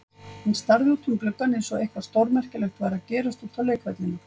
Hann starði út um gluggann eins og eitthvað stórmerkilegt væri að gerast úti á leikvellinum.